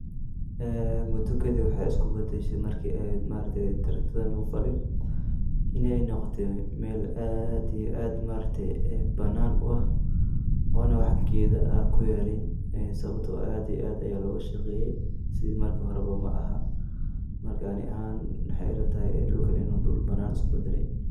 Ee mudukadip waxay iskubadashe marke eehed maargte taragtada lagu falin pay noqote Mel ad iyo ad banana u ah one wax geda ah kuyalin ee sababto ah ad iyo ad laogashaqeye sida marka hore aha ,marka ani ahan mxa ilatahay dulakn inu dul banan iskubadale